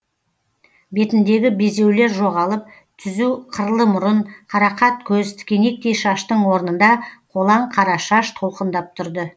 бетіндегі безеулер жоғалып түзу қырлы мұрын қарақат көз тікенектей шаштың орнында қолаң қара шаш толқындап тұрды